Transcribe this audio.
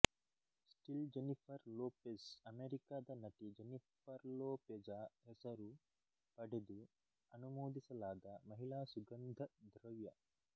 still Jennifer Lopez ಅಮೆರಿಕದ ನಟಿ Jennifer Lopez ಹೆಸರು ಪಡೆದು ಅನುಮೋದಿಸಲಾದ ಮಹಿಳಾ ಸುಗಂಧದ್ರವ್ಯ